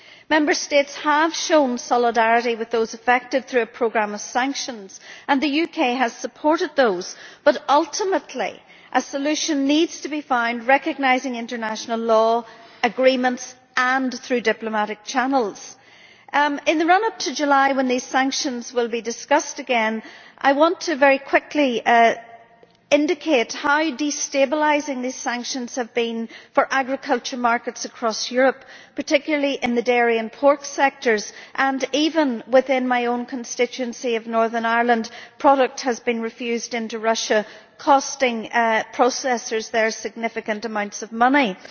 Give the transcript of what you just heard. Member States have shown solidarity with those affected through a programme of sanctions, and the UK has supported those. But ultimately a solution needs to be found recognising international law and agreements, and through diplomatic channels. In the run up to July, when these sanctions will be discussed again, I want very quickly to indicate how destabilising these sanctions have been for agriculture markets across Europe, particularly in the dairy and pork sectors. Even within my own constituency of Northern Ireland, product has been refused entry into Russia, costing processors there significant amounts of money.